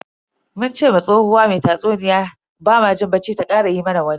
Mun ce wa tsohuwa mai tatsuniya bamu jin bacci ta kara yi mana wani.